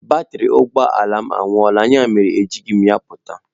Batrị ụgbọ ala m agwuola, ya mere ejighị m ya pụta.